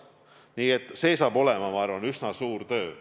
Nii et see kõik on, ma arvan, üsna suur töö.